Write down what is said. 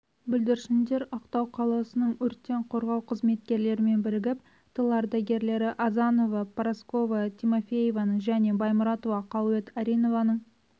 бүлдіршіндер ақтау қаласының өрттен қорғау қызметкерлерімен бірігіп тыл ардагерлері азанова парасковя тимофеевнаның және баймұратова қалует ариновнаның